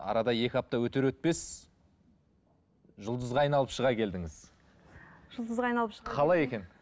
арады екі апта өтер өтпес жұлдызға айналып шыға келдіңіз